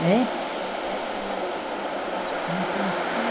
Hein? Tem que pressionar eles para fazer um netinho. Mas estão tudo